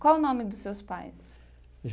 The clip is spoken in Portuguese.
Qual o nome dos seus pais?